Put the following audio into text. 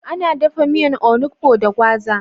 Ana dafa miyan onugbo da gwaza.